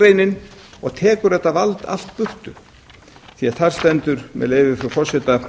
greinar og tekur þetta vald allt burtu því þar stendur með leyfi frú forseta